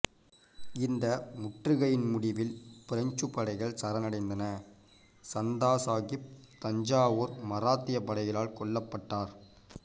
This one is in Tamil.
இந்த முற்றுகையின் முடிவில் பிரெஞ்சு படைகள் சரணடைந்தன சந்தா சாகிப் தஞ்சாவூர் மராத்தியப் படைகளால் கொல்லப்பட்டார்